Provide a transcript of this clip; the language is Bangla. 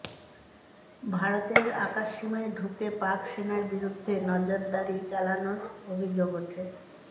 ভারতের আকাশসীমায় ঢুকে পাক সেনার বিরুদ্ধে নজরাদারি চালানোর অভিযোগ ওঠে